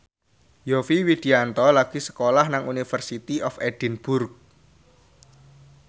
Yovie Widianto lagi sekolah nang University of Edinburgh